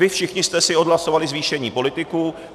Vy všichni jste si odhlasovali zvýšení politiků.